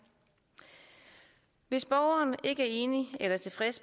hvis borgeren ikke er enig i eller tilfreds